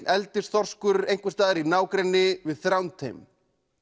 eldisþorskur einhvers staðar í nágrenni við Þrándheim